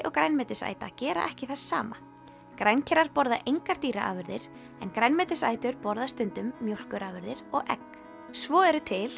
og grænmetisæta gera ekki það sama borða engar dýraafurðir en grænmetisætur borða stundum mjólkurafurðir og egg svo eru til